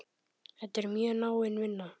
Þetta er mjög náin vinna.